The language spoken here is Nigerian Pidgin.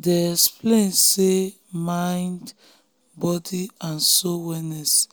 they explain say mind body and soul wellness